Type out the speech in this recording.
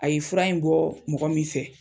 A ye fura in bɔɔ mɔgɔ min fɛ